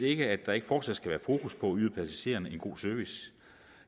ikke at der ikke fortsat skal være fokus på at yde passagererne en god service